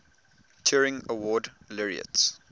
turing award laureates